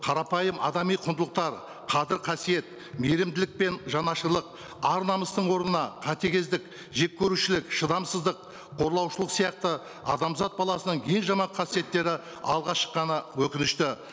қарапайым адами құндылықтар қадір қасиет мейірімділік пен жанашырлық ар намыстың орнына қатігездік жек көрушілік шыдамсыздық қорлаушылық сияқты адамзат баласының ең жаман қасиеттері алға шыққаны өкінішті